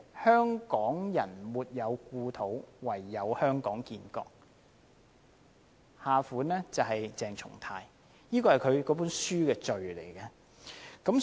"香港人沒有故土，唯有香港建國"，下款是"鄭松泰"，這是他的書的序言。